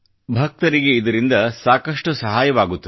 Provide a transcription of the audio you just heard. ಭಕ್ತರಿಗೆ ಇದರಿಂದ ಸಾಕಷ್ಟು ಸಹಾಯ ಆಗುತ್ತದೆ